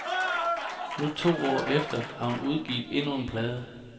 Nu to år efter har hun udgivet endnu en plade.